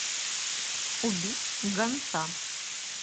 убить гонца